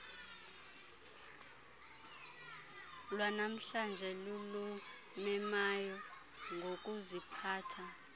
lwanamhlanje lulumemayo ngokuziphatha